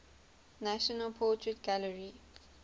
national portrait gallery